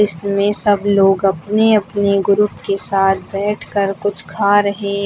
इसमें सब लोग अपने अपने ग्रुप के साथ बैठकर कुछ खा रहे--